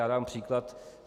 Já dám příklad.